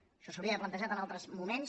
això s’hauria d’haver plantejat en altres moments